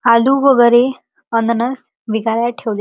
आलू वगेरे अनन्स विकायल ठेवले--